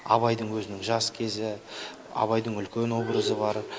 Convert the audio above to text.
абайдың өзінің жас кезі абайдың үлкен образы бар